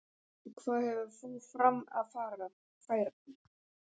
Og hvað hefur þú fram að færa?